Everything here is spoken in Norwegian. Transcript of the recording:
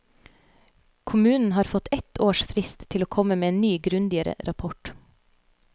Kommunen har fått ett års frist til å komme med en ny, grundigere rapport.